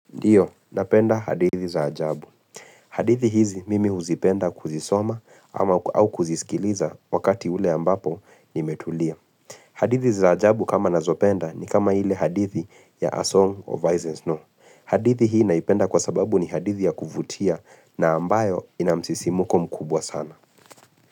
Ndiyo, napenda hadithi za ajabu. Hadithi hizi mimi huzipenda kuzisoma au kuzisikiliza wakati ule ambapo nimetulia. Hadithi za ajabu kama nazopenda ni kama hile hadithi ya A Song of Isons No. Hadithi hii naipenda kwa sababu ni hadithi ya kuvutia na ambayo inamsisimuko mkubwa sana.